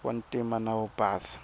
wa ntima na wo basa